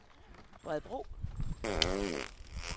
Bredebro